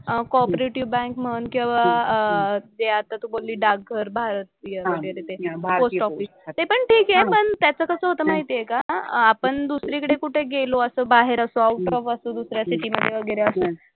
अह cooperative bank म्हण किंवा अह जे आता तू बोलली डाकघर भारतीय वगैरे ते. Post office. ते पण ठीक आहे. पण त्याचं कसं होतं माहिती आहे का? आपण दुसरीकडे कुठे गेलो असं बाहेर असं आऊट ऑफ असं दुसऱ्या सिटी मधे वगैरे असं.